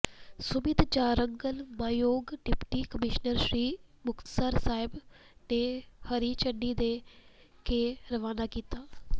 ਸੁਮੀਤ ਜਾਰੰਗਲ ਮਾਨਯੋਗ deputy commissioner Shri Muktsar Sahib ਨੇ ਹਰੀ ਝੰਡੀ ਦੇ ਕੇ ਰਵਾਨਾ ਕੀਤਾ